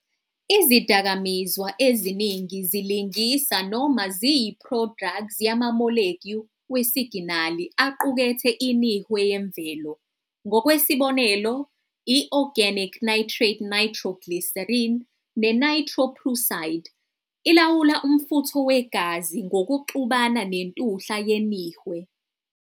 Izidakamizwa eziningi zilingisa noma ziyi-prodrugs yamamolekyu wesiginali aqukethe inihwe yemvelo- ngokwesibonelo, i-"organic nitrate nitroglycerin" ne-"nitroprusside" ilawula umfutho wegazi ngokuxubana nentuhla yenihwe.